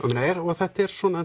þetta er svona